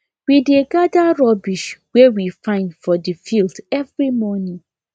we dey gather rubbish wey we find for the field every morning